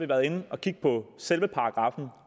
været inde og kigge på selve paragraffen